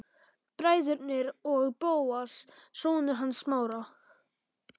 Bræðurnir og Bóas, sonur hans Smára.